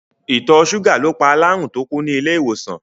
Ìtọ̀ ṣúgà ló pa alárùn tó kú ní ilé-ìwòsàn.